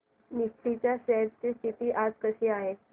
Nifty च्या shares ची स्थिती आज कशी आहे